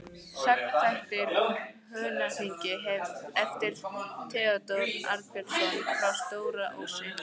Sagnaþættir úr Húnaþingi eftir Theódór Arnbjörnsson frá Stóra-Ósi